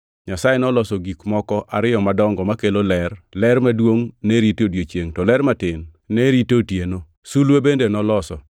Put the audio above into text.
Nyasaye noloso gik moko ariyo madongo makelo ler; ler maduongʼ ne rito odiechiengʼ, to ler matin ne rito otieno. Sulwe bende noloso.